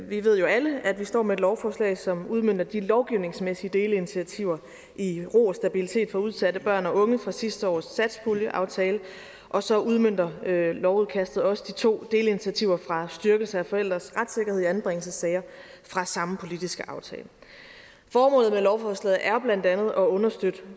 vi ved jo alle at vi står med et lovforslag som udmønter de lovgivningsmæssige delinitiativer i ro og stabilitet for udsatte børn og unge fra sidste års satspuljeaftale og så udmønter lovudkastet også de to delinitiativer styrkelse af forældres retssikkerhed i anbringelsessager fra samme politiske aftale formålet med lovforslaget er blandt andet at understøtte